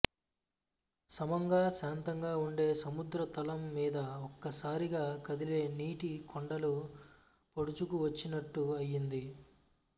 సమంగా శాంతంగా ఉండే సముద్ర తలం మీద ఒక్కసారిగా కదిలే నీటి కొండలు పొడుచుకు వచ్చినట్టు అయ్యింది